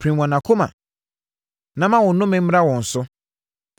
Pirim wɔn akoma, na ma wo nnome mmra wɔn so.